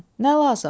Nə lazım?